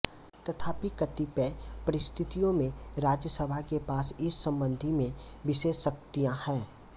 तथापि कतिपय परिस्थितियों में राज्य सभा के पास इस संबंध में विशेष शक्तियाँ हैं